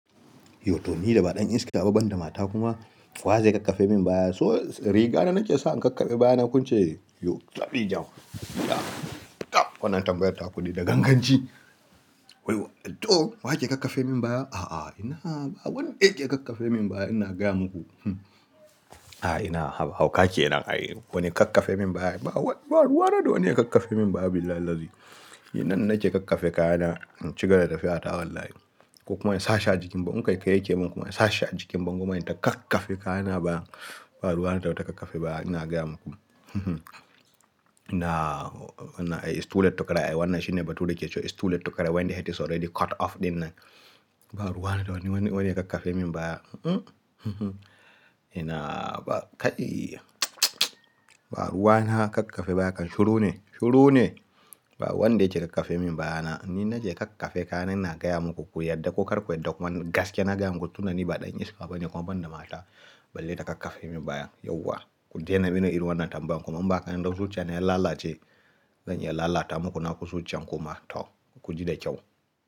Yo toh ni da ba ɗan iska ba banda mata kuma wa zai kakkafe min baya? So riga na nake sa in kakkaɓe baya na kun ce, yo tafdi jan. Tab, tab wannan tambayar ta ku dai da ganganci. Toh waye ke kakkafe min baya? A'a, ina ba wanda ke kakkafe min baya ina gaya muku. A'a ina hauka kenan wane kakkafe min baya? Ba wani ba ruwa na da wani ya kakkafe min baya billahi lazzi. Ni nan nake kakkafe kayana in cigaba da tafiya ta wallahi. Ko kuma in sashi a jikin bango, in kaykayi yake min kuma in sashi a jikin bango ma in ta kakkafe kayana a baya. Ba ruwa na da wata kakkafe baya ina gaya muku. Ina, it's too late to cry. Wannan shine bature ke cewa it's too late to cry when the head is already cut off ɗin nan. Ba ruwa da wane, wane, wane ya kakkafe min baya. Ina ba kaiii, ba ruwa na kakkafe baya kan shuru ne, shuru ne. Ba wanda yake kakkafe min baya na. Ni nake kakkafe kaya na ina gaya muku ku yarda ko kar ku yarda kuma ni gaskiya na gaya muku tunda ni ba ɗan iska ba ne kuma banda mata balle ta kakkafe min baya yauwa. Ku daina mini irin wannan tambaya kuma in ba haka ba indan zuciyana ya lalace, zan iya lalata muku naku zuciyan kuma toh ku ji da kyau.